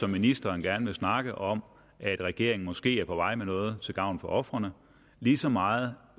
ministeren gerne vil snakke om at regeringen måske er på vej med noget til gavn for ofrene lige så meget